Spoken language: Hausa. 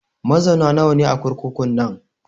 Mazauna nawa ne a kurkukun nan?